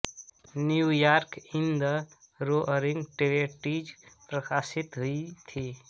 New York in the roaring twenties प्रकाशित हुई थी